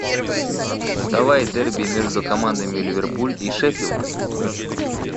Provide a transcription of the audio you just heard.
давай дерби между командами ливерпуль и шеффилд